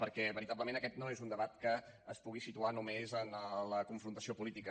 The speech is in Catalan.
perquè veritablement aquest no és un debat que es pugui situar només en la confrontació política